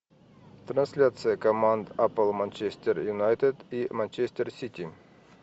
трансляция команд апл манчестер юнайтед и манчестер сити